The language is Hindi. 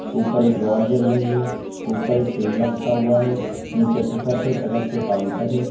ऊपर एक रॉड जल रही है। ऊपर एक तेल रखा हुआ है नीचे तखथ है। तखथ पे काउंटर है।